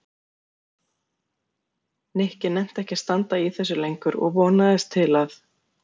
Nikki nennti ekki að standa í þessu lengur og vonaðist til þess að